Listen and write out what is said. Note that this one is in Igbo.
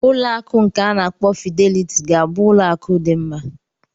Ụlọ akụ nke a na-akpọ Fidelity ga-abụ ụlọ akụ dị mma.